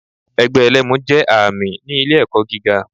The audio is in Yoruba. Ẹgbẹ́ ẹlẹ́mu jé ààmì ni ilé èkó giga